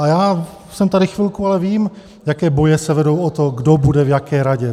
A já jsem tady chvilku, ale vím, jaké boje se vedou o to, kdo bude v jaké radě.